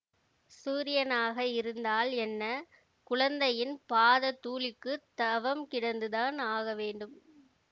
சூரியனாக இருந்தால் என்ன குழந்தையின் பாதத் தூளிக்குத் தவம் கிடந்துதான் ஆக வேண்டும்